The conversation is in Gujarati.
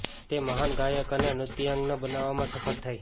તે મહાન ગાયક અને નૃત્યાંગના બનવામાં સફળ થઈ